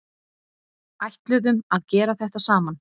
Ætluðum að gera þetta saman